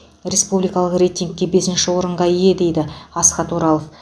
республикалық рейтингте бесінші орынға ие дейді асхат оралов